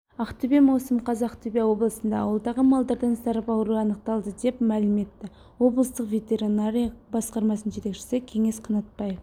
ақтөбе маусым қаз ақтөбе облысында ауылдағы малдардан сарып ауруы анықталды деп мәлім етті облыстық ветеринария басқармасының жетекшісі кеңес қанатбаев